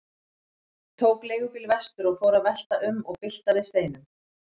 Tók leigubíl vestur og fór að velta um og bylta við steinum.